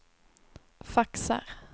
faxar